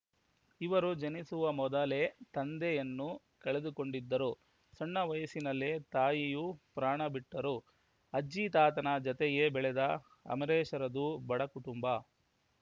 ಇವರು ಜನಿಸುವ ಮೊದಲೇ ತಂದೆಯನ್ನು ಕಳೆದುಕೊಂಡಿದ್ದರು ಸಣ್ಣ ವಯಸ್ಸಿನಲ್ಲೇ ತಾಯಿಯೂ ಪ್ರಾಣ ಬಿಟ್ಟರು ಅಜ್ಜಿ ತಾತನ ಜತೆಯೇ ಬೆಳೆದ ಅಮರೇಶ್‌ರದ್ದು ಬಡ ಕುಟುಂಬ